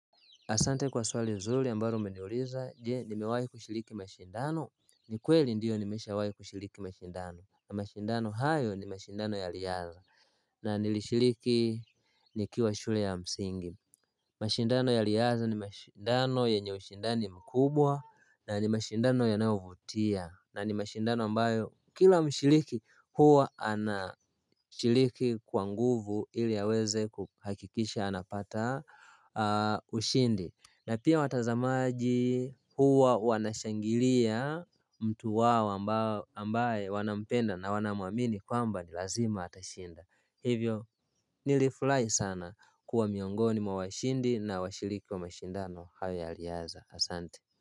Asante kwa swali mzuri ambalo umeniuliza je nimewai kushiriki mashindano Ni kweli ndio nimesha wahi kushiriki mashindano na mashindano hayo ni mashindano ya liyari na nilishiriki nikiwa shule ya msingi mashindano ya liyari ni mashindano yenye ushindani mkubwa na ni mashindano ya navutia na ni mashindano ambayo kila mshiriki huwa anashiriki kwa nguvu ili aweze kuhakikisha anapata ushindi na pia watazamaji huwa wanashangilia mtu wao ambaye wanampenda na wanamuamini kwamba ni lazima atashinda Hivyo nilifurai sana kuwa miongoni mwa washindi na washiriki wa mashindano haya ya liyari asante.